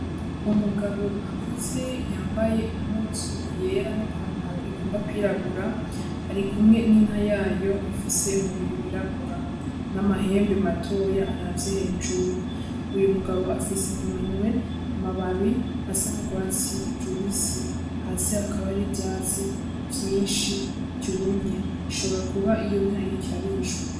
Umugabo akuze yambaye impuzu yera n'ipantaro igomba kwirabura, ari kumwe n'inka yayo ifise umubiri w'irabura, n'amahembe matoya aravye hejuru. Uyo mugabo afise mu minwe amababi asa n'urwatsi rubisi, hasi hakaba hariho ivyatsi vyinshi vyumye. Ishobora kuba iyo inka iriko irarishwa.